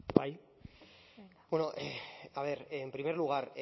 bai bueno a ver en primer lugar